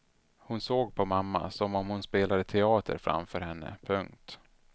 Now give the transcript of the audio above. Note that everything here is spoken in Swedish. Hon såg på mamma som om hon spelade teater framför henne. punkt